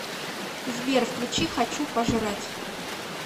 сбер включи хочу пожрать